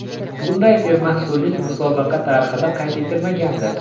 Bunday sermahsullik musobaqa tarixida qayd etilmagandi.